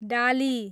डाली